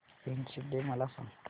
friendship day मला सांग